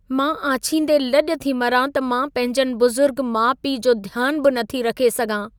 मां आछींदे लज॒ थी मरां त मां पंहिंजनि बुज़ुर्ग माउ-पीउ जो ध्यान बि नथी रखे सघां।